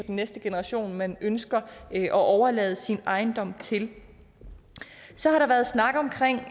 næste generation man ønsker at overlade sin ejendom til så har der været snak om